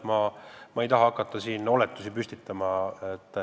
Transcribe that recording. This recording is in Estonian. Ma ei taha siin hakata oletusi püstitama.